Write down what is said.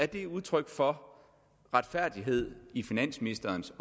det udtryk for retfærdighed i finansministerens